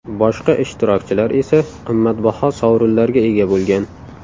Boshqa ishtirokchilar esa qimmatbaho sovrinlarga ega bo‘lgan.